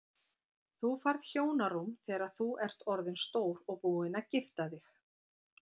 Þú færð hjónarúm þegar þú ert orðinn stór og búinn að gifta þig.